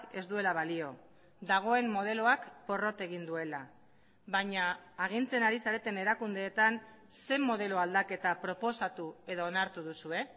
ez duela balio dagoen modeloak porrot egin duela baina agintzen ari zareten erakundeetan zein modelo aldaketa proposatu edo onartu duzue